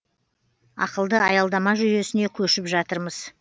ақылды аялдама жүйесіне көшіп жатырмыз